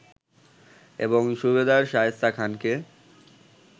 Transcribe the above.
এবং সুবেদার শায়েস্তা খানকে